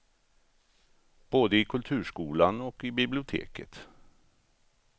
Både i kulturskolan och i biblioteket.